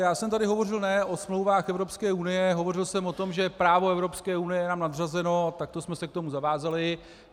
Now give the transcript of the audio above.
Já jsem tady hovořil ne o smlouvách Evropské unie, hovořil jsem o tom, že právo Evropské unie je nám nadřazeno a takto jsme se k tomu zavázali.